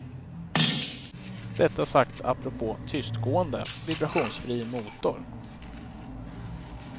Detta sagt apropå tystgående, vibrationsfri motor.